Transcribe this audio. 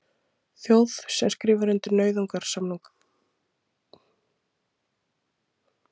Þjóð sem skrifar undir nauðungarsamninga, er ranglætið orðið réttlæti?